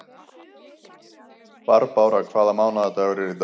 Barbára, hvaða mánaðardagur er í dag?